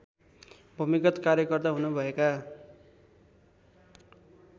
भूमिगत कार्यकर्ता हुनुभएका